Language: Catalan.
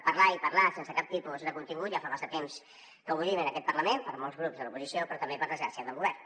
parlar i parlar sense cap tipus de contingut ja fa massa temps que ho vivim en aquest parlament per molts grups de l’oposició però també per desgràcia del govern